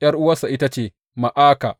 ’Yar’uwarsa ita ce Ma’aka.